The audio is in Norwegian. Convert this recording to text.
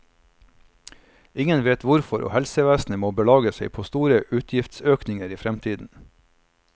Ingen vet hvorfor, og helsevesenet må belage seg på store utgiftsøkninger i fremtiden.